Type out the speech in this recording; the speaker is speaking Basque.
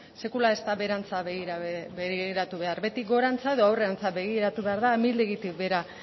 sekula ez da beherantz begiratu behar beti gorantz edo aurrerantz begiratu behar da amildegitik behera